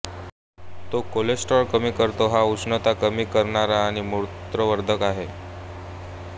तो कोलेस्ट्राल कमी करताे हा उष्णता कमी करणारा आणि मूत्रवर्धक आहे